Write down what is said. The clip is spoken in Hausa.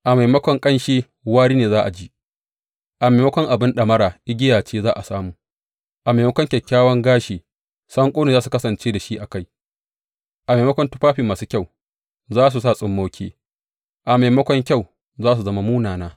A maimakon ƙanshi, wari ne za a ji; a maimakon abin ɗamara, igiya ce za a samu; a maimakon kyakkyawan gashi, sanƙo za su kasance da shi a kai; a maimakon tufafi masu kyau, za su sa tsummoki; a maimakon kyau, za su zama munana.